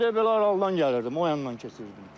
Mən elə də belə aralıdan gəlirdim, o yandan keçirdim.